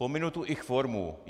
Pominu tu ich formu.